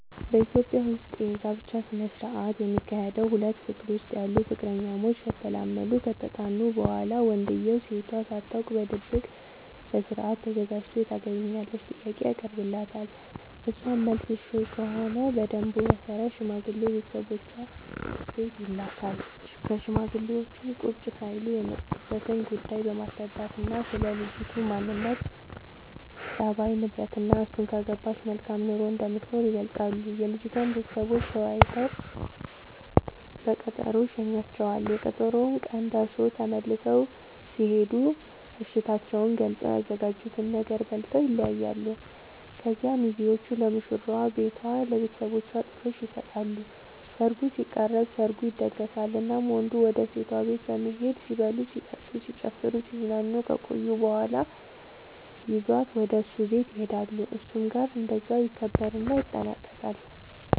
በኢትዮጵያ ዉስጥ የጋብቻ ስነ ስርዓት የሚካሄደዉ ሁለት ፍቅር ዉስጥ ያሉ ፍቅረኛሞች ከተላመዱናከተጠናኑ በኋላ ወንድዬው ሴቷ ሳታውቅ በድብቅ በስርአት ተዘጋጅቶ የታገቢኛለሽ ጥያቄ ያቀርብላታል እሷም መልሷ እሽ ከሆነ በደንቡ መሰረት ሽማግሌ ቤተሰቦቿ ቤት ይልካል ሽማግሌዎቹም ቁጭ ሳይሉ የመጡበትን ጉዳይ በማስረዳትናስለ ልጅቱ ማንነት፣ ፀባይ፤ ንብረትናእሱን ካገባች መልካም ኑሮ እንደምትኖር ይገልጻሉ። የልጅቷም ቤተሰቦች ተወያይተው በቀጠሮ ይሸኙዋቸዋል፤ የቀጠሮው ቀን ደርሶ ተመልሰው ሲሄዱ እሽታቸውን ገልፀው፤ ያዘጋጁትን ነገር በልተው ይለያያሉ። ከዚያ ሚዜዎቹ ለሙሽራዋ ቤቷ ለብተሰቦቿ ጥሎሽ ይሰጣሉ ሰርጉ ሲቃረብ፤ ሰርጉ ይደገሳል እናም ወንዱ ወደ ሴቷ ቤት በመሄድ ሲበሉ ሲጠጡ፣ ሲጨፍሩናሲዝናኑ ከቆዩ በኋላ ይዟት ወደ እሱ ቤት ይሄዳሉ እሱም ጋር እንደዛው ይከበርና ይጠናቀቃል